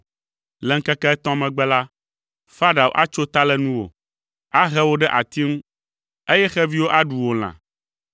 Le ŋkeke etɔ̃ megbe la, Farao atso ta le nuwò, ahe wò ɖe ati ŋu, eye xeviwo aɖu wò lã.”